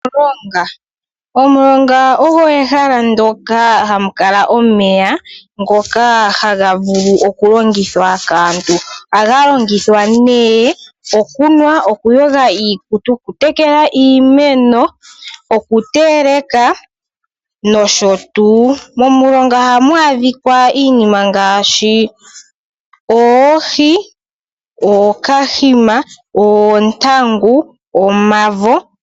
Omulongo. Omulongo olyo ehala moka hamu kala omeya ngoka haga vulu okulongithwa kaantu. Ohaga longithwa nee okunwa ,,okuyoga iikutu ,oku tekela iimeno,,oku teleka nosho tuu. Momilobga ohamu adhika iinima ngaashi oohi, ookahima, oontangu, omavo.